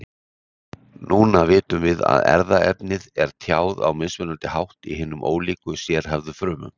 Núna vitum við að erfðaefnið er tjáð á mismunandi hátt í hinum ólíku sérhæfðu frumum.